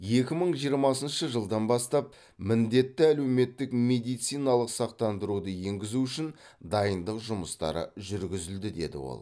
екі мың жиырмасыншы жылдан бастап міндетті әлеуметтік медициналық сақтандыруды енгізу үшін дайындық жұмыстары жүргізілді деді ол